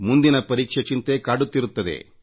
ಮುಂದಿನ ಪರೀಕ್ಷೆ ಚಿಂತೆ ಕಾಡುತ್ತಿರುತ್ತದೆ